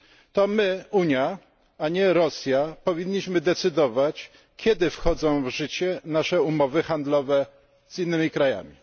To my Unia, a nie Rosja, powinniśmy decydować, kiedy wchodzą w życie nasze umowy handlowe z innymi krajami.